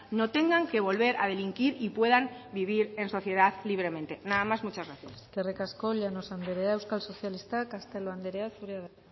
no tengan que volver a delinquir y puedan vivir en sociedad libremente nada más muchas gracias eskerrik asko llanos andrea euskal sozialistak castelo andrea zurea da